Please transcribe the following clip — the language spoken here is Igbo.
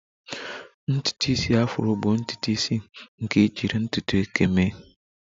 Ntutu isi Afro bụ ntutu isi nke ejiri ntutu eke mee